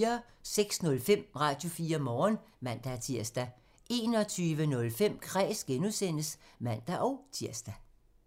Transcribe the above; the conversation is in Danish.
06:05: Radio4 Morgen (man-tir) 21:05: Kræs (G) (man-tir)